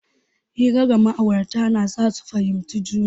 Hira ga ma'aurata na sa su fahimci juna.